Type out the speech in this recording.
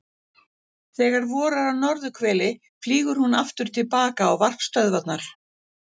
Þegar vorar á norðurhveli flýgur hún aftur til baka á varpstöðvarnar.